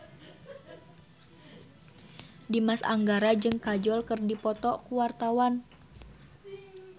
Dimas Anggara jeung Kajol keur dipoto ku wartawan